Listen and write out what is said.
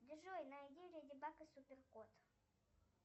джой найди леди баг и супер кот